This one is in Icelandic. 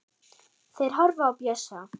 Þeir horfa á Bjössa.